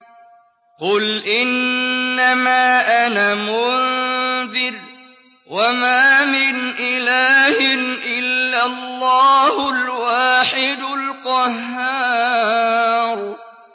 قُلْ إِنَّمَا أَنَا مُنذِرٌ ۖ وَمَا مِنْ إِلَٰهٍ إِلَّا اللَّهُ الْوَاحِدُ الْقَهَّارُ